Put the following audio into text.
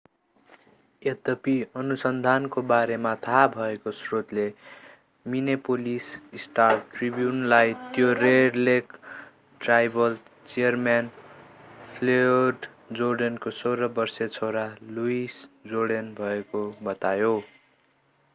यद्यपि अनुसन्धानको बारेमा थाहा भएको स्रोतले मिनेपोलिस स्टार-ट्रिब्युनलाई त्यो red lake tribal chairman Floyd जोर्डेनको 16-वर्षे छोरा लुइस जोर्डन भएको बतायो